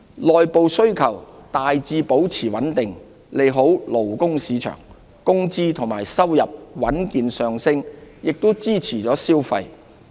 內部需求大致保持穩定，利好勞工市場。工資及收入穩健上升亦支持消費。